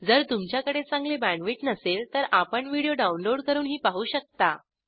जर तुमच्याकडे चांगली बॅण्डविड्थ नसेल तर आपण व्हिडिओ डाउनलोड करूनही पाहू शकता